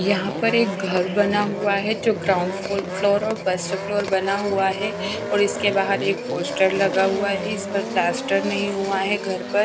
यहां पर एक घर बना हुआ है जो ग्राउंड फोल फ्लोर और फर्स्ट फ्लोर बना हुआ है और इसके बाहर एक पोस्टर लगा हुआ इस पर प्लास्टर नहीं हुआ है घर पर।